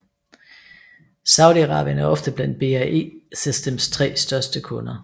Saudi Arabien er ofte blandt BAE Systems tre største kunder